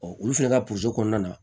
olu fɛnɛ ka kɔnɔna na